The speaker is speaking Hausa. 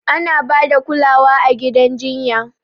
Ana ba da kulawa a gidan jinya.